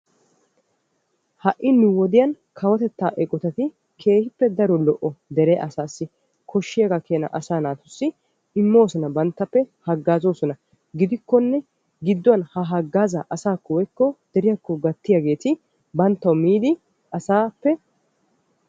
Ha'i nu wodiyaan kawotettaa eqotati keehippe daro lo"o dere asaassi koshiyaaga keenaa asaa naatussi immoosona banttappe haggaazoosona. gidikkonne gidduwaan ha haggaazaa asaakko woykko deriyaakko gaattiyaageti banttawu miidi asaappe